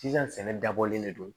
Sisan sɛnɛ dabɔlen de do